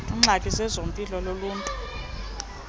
ngxaki yezempilo uluntu